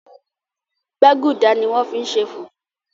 gbágudá ní wón fí ṣe fufu.